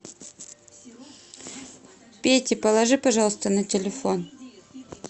пете положи пожалуйста на телефон